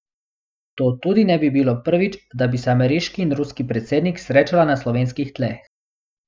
To tudi ne bi bilo prvič, da bi se ameriški in ruski predsednik srečala na slovenskih tleh.